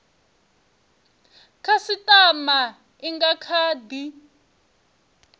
khasitama i nga kha di